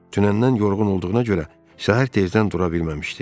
Dünəndən yorğun olduğuna görə səhər tezdən dura bilməmişdi.